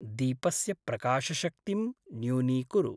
दीपस्य प्रकाशशक्तिं न्यूनीकुरु।